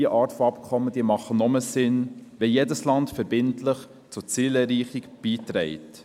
Diese Art von Abkommen ergibt nur einen Sinn, wenn jedes Land verbindlich zur Zielerreichung beiträgt.